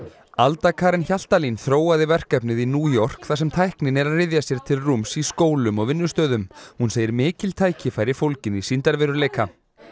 alda Karen Hjaltalín þróaði verkefnið í New York þar sem tæknin er að ryðja sér til rúms í skólum og vinnustöðum hún segir mikil tækifæri fólgin í sýndarveruleika